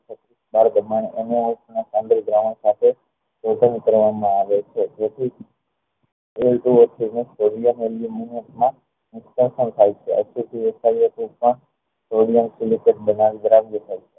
બાર ધમણ અને